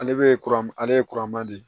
Ale bɛ kuran ale ye kuran ma di